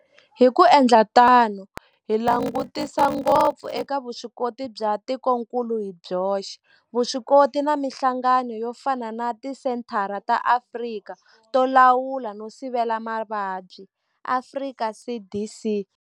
Hi ku endla tano hi langutisa ngopfu eka vuswikoti bya tikokulu hi byoxe, vuswikoti na mihlangano yo fana na Tisenthara ta Afrika to Lawula no Sivela Mavabyi, Afrika CDC.